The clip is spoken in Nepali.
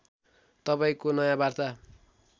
तपाईँंको नयाँ वार्ता